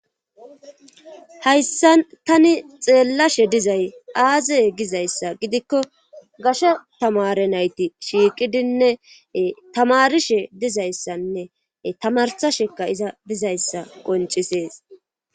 hayssa tani xeellashe dizay aaze gizayssa gidikko gashe tamare nayti shiiqidinne tamarishe dizayssanne tamarsasheka iza dizayssa qoncisees